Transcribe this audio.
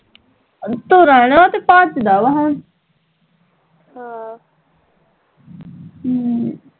ਤੁਰਨ ਓਹ ਤੇ ਭੱਜਦਾ ਵਾ ਹੁਣ ਹਮ